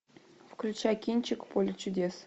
включай кинчик поле чудес